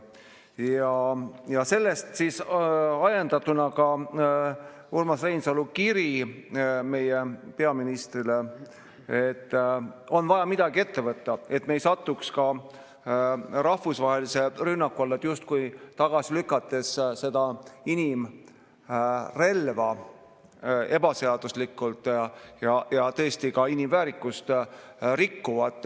Ja sellest oli ajendatud ka Urmas Reinsalu kiri meie peaministrile, et on vaja midagi ette võtta, et ka meie ei satuks rahvusvahelise rünnaku alla, kui lükkame selle inimrelva tagasi ebaseaduslikult ja tõesti ka inimväärikust rikkuvalt.